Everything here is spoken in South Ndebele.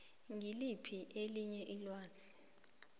ngiliphi elinye ilwazi